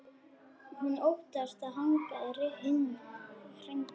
Hún óttast að hann hringi.